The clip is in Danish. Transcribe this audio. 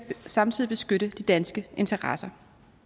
samtidig beskytte de danske interesser